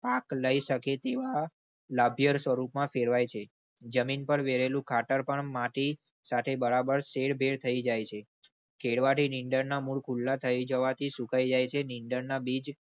પાક લઈ શકે તેવા લાભ સ્વરૂપ માં ફેરવાય છે. જમીન પર વેલુ ખાતર પર માટી સાથે બરાબર શેરભેર થઇ જાયે. ખેડવા થી નીંદર ના મૂળ ખુલ્લા થઇ જાવા થી સુકાઈ જાય છે. નીંદર ના બીજ.